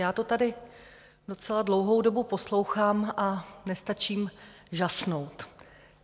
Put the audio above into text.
Já to tady docela dlouhou dobu poslouchám a nestačím žasnout.